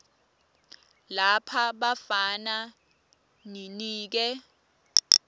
lapha bafana ninike